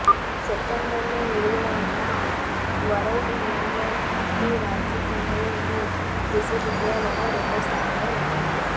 సెప్టెంబర్లో విడుదల అయిన వరల్డ్ యూనివర్శిటీ ర్యాంకింగ్స్లో ఈ విశ్వవిద్యాలయం రెండ్ స్థానంలో నిలిచింది